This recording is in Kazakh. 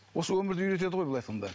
осы өмірді үйретеді ғой былай айтқанда